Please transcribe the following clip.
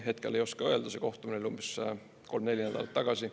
Hetkel ei oska öelda, see kohtumine oli umbes kolm, neli nädalat tagasi.